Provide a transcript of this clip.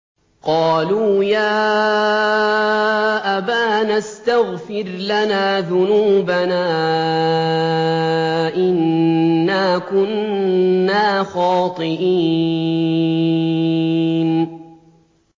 قَالُوا يَا أَبَانَا اسْتَغْفِرْ لَنَا ذُنُوبَنَا إِنَّا كُنَّا خَاطِئِينَ